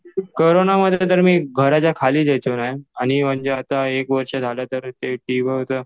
कोरोनामध्ये तर मी घराच्या खालीच यायचो नाही. आणि आता म्हणजे एक वर्ष झालं टीवाय होतं.